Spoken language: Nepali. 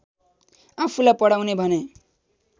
आफूलाई पढाउने भने